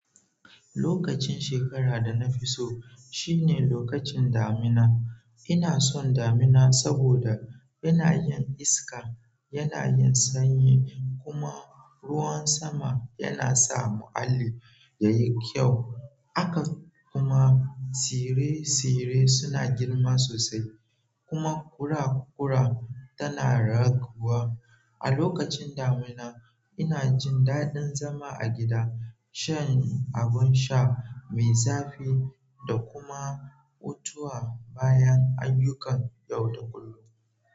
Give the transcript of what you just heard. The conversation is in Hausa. Lokacin shekara da na fi so shine lokacin damina. Ina son damina saboda yana yin iska, yana yin sanyi kuma ruwan sama yana sa muhalli yayi kyau. Haka kuma tsire-tsire suna girma sosai kuma ƙura-ƙura tana raguwa. A lokacin damina, ina jin daɗin zama a gida, shan abin sha mai zafi da kuma hutawa bayan ayyukan yau da kullum.